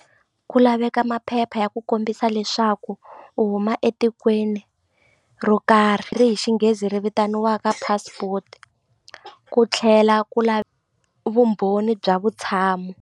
Ku laveka maphepha ya ku kombisa leswaku u huma etikweni ro karhi ri hi xinghezi ri vitaniwaka passport ku tlhela ku la vumbhoni bya vutshamo.